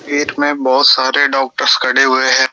Gate में बहोत सारे डॉक्टर्स खड़े हुए हैं।